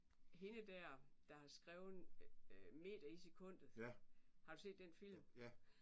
Hende der der har skrevet meter i sekundet har du set den film?